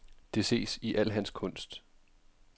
Det ses i al hans kunst.